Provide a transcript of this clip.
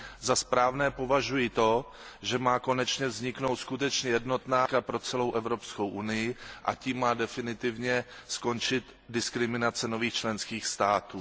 Za správné považuji to, že má konečně vzniknout skutečně jednotná politika pro celou Evropskou unii a tím má definitivně skončit diskriminace nových členských států.